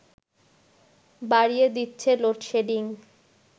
বাড়িয়ে দিচ্ছে লোডশেডিং